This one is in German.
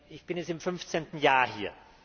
Ich bin jetzt im 15. Jahr hier.